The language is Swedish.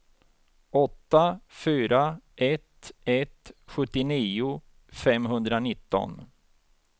åtta fyra ett ett sjuttionio femhundranitton